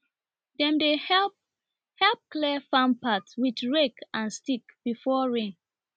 dem dey help help clear farm path with rake and stick before rain